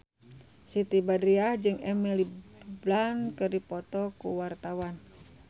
Siti Badriah jeung Emily Blunt keur dipoto ku wartawan